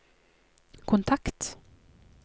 kontakt